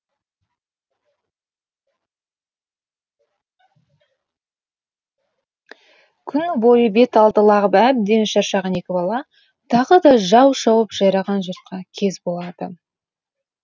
күні бойы бет алды лағып әбден шаршаған екі бала тағы да жау шауып жайраған жұртқа кез болады